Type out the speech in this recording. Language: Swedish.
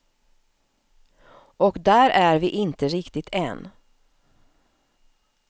Och där är vi inte riktigt än.